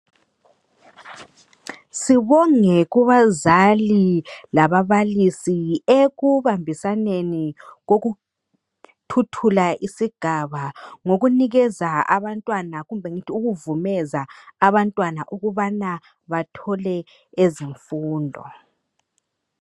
Sibonge kubazali lababalisi, ekubambisaneni, kokuthuthula isigaba. Ngokunikeza abantwana, kumbe ngithi ukuvumeza abantwana ukuthi bathole ezemfundo.